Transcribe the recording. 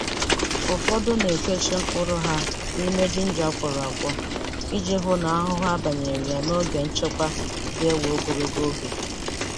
Ufodu na-ekechi mkpụrụ ha nime ginger a kwọrọ akwọ, iji hụ na ahuhu abanyeghị ya n'oge nchekwa ga-ewe ogologo oge.